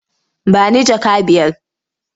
Ba ni jaka biyar?